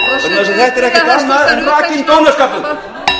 þess að þetta er ekkert annað en rakinn